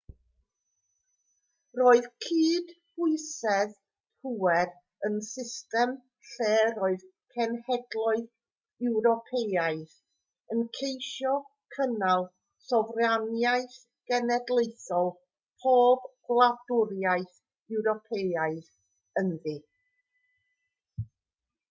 roedd cydbwysedd pŵer yn system lle roedd cenhedloedd ewropeaidd yn ceisio cynnal sofraniaeth genedlaethol pob gwladwriaeth ewropeaidd ynddi